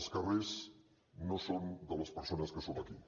els carrers no són de les persones que som aquí